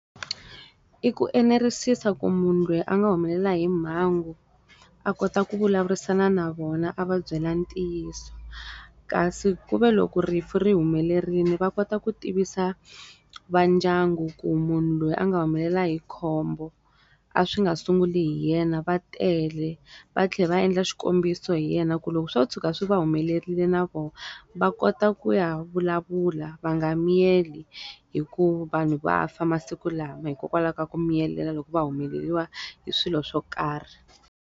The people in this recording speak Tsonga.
I ku enerisisa ku munhu loyi a nga humelela hi mhangu, a kota ku vulavurisana na vona a va byela ntiyiso. Kasi ku ve loko rifu ri humelerile va kota ku tivisa va ndyangu ku munhu loyi a nga humelela hi khombo, a swi nga sungula hi yena va tele. Va tlhela va endla xikombiso hi yena ku loko swo tshuka swi va humelerile na vona, va kota ku ya vulavula va nga miyeli, hikuva vanhu va fa masiku lawa hikokwalaho ka ku miyelela loko va humeleriwa hi swilo swo karhi.